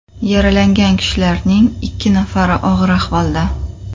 Yaralangan kishilarning ikki nafari og‘ir ahvolda.